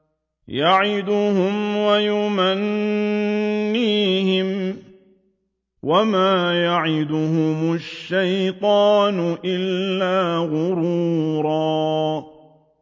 يَعِدُهُمْ وَيُمَنِّيهِمْ ۖ وَمَا يَعِدُهُمُ الشَّيْطَانُ إِلَّا غُرُورًا